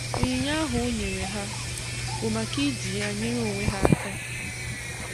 onyinye ahụ o nyere ha bụ maka iji ya nyere onwe ha aka